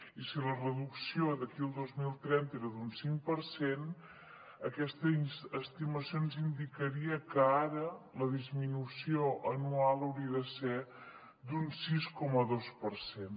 i si la reducció d’aquí al dos mil trenta era d’un cinc per cent aquesta estimació ens indicaria que ara la disminució anual hauria de ser d’un sis coma dos per cent